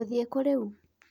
Ngũthiĩ kũũ rĩu.